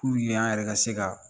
an yɛrɛ ka se ka